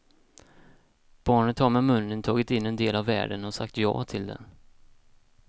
Barnet har med munnen tagit in en del av världen och sagt ja till den.